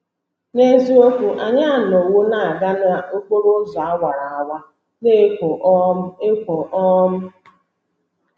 N’eziokwu, anyị anọwo na - aga n’okporo ụzọ awara awara na - ekwo um ekwo. um